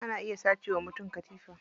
Ana iya sace wa mutum katifa.